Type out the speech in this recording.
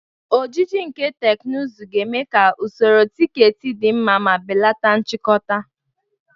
Ojiji nke teknụzụ ga-eme ka usoro tiketi dị mma ma belata nchikota.